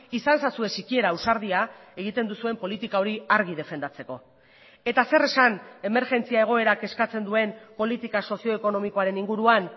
izan ezazue sikiera ausardia egiten duzuen politika hori argi defendatzeko eta zer esan emergentzia egoerak eskatzen duen politika sozioekonomikoaren inguruan